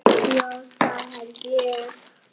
Já, það held ég.